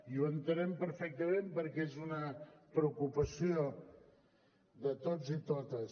i ho entenem perfectament perquè és una preocupació de tots i totes